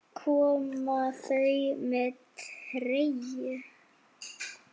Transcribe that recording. Koma þau með treyju?